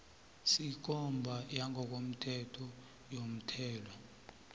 sekomba yangokomthetho yomthelo